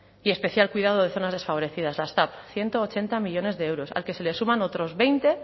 y especial cuidado de zonas desfavorecidas hasta ciento ochenta millónes de euros al que se le suman otros veinte